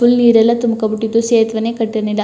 Full ನೀರೆಲ್ಲ ತುಂಬಿಕೊಂಡು ಬಿಟ್ಟಿತ್ತು ಸೇತುವೆನೇ ಕಟ್ಟಿರಲಿಲ್ಲ.